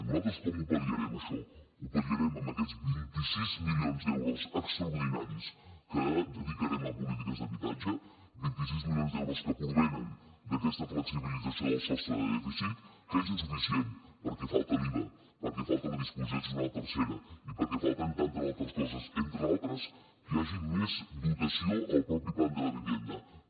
nosaltres com ho pal·liarem això ho pal·liarem amb aquests vint sis milions d’euros extraordinaris que dedicarem a polítiques d’habitatge vint sis milions d’euros que provenen d’aquesta flexibilització del sostre de dèficit que és insuficient perquè falta l’iva perquè falta la disposició addicional tercera i perquè falten tantes altres coses entre d’altres que hi hagi més dotació al plan de la vivienda mateix